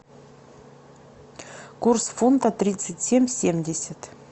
курс фунта тридцать семь семьдесят